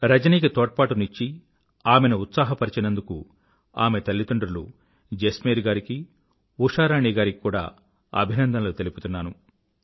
రజనికి తోడ్పాటుని ఇచ్చి ఆమెను ఉత్సాహపరచినందుకు ఆమె తల్లిదండ్రులు జస్మేర్ గారికి ఉషారాణి గారికి కూడా అభినందనలు తెలుపుతున్నాను